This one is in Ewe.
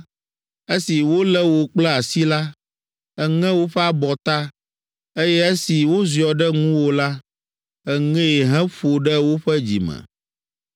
Esi wolé wò kple asi la, èŋe woƒe abɔta, eye esi woziɔ ɖe ŋuwò la, èŋee heƒo ɖe woƒe dzime.